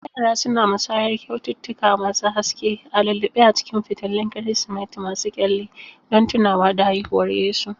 Yara suna musayar kyaututtuka masu haske a lulluɓe a cikin fitilun Kirsimeti masu kyalli don tunawa da haihuwar Yesu.